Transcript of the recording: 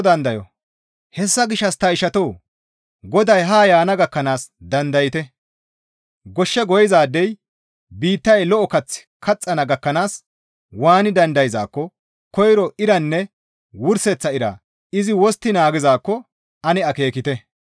Hessa gishshas ta ishatoo! Goday haa yaana gakkanaas dandayte; goshshe goyizaadey biittay lo7o kaththi kaxxana gakkanaas waani dandayzaakko koyro iranne wurseththa ira izi wostti naagizaakko ane akeekite.